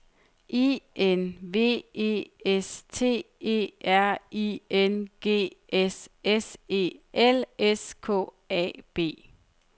I N V E S T E R I N G S S E L S K A B